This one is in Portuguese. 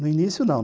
No início, não.